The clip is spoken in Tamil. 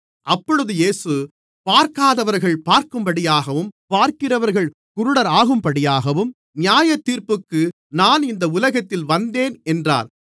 அப்பொழுது இயேசு பார்க்காதவர்கள் பார்க்கும்படியாகவும் பார்க்கிறவர்கள் குருடராகும்படியாகவும் நியாயத்தீர்ப்புக்கு நான் இந்த உலகத்தில் வந்தேன் என்றார்